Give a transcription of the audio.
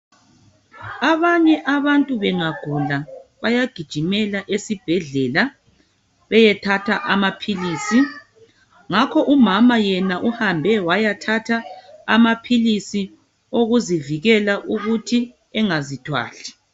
Abanye abantu bengagula bayagijimela esibhedlela beyethatha amapills ngakho umama yena wayathatha amapills okuzivikela ukuthi engazithwali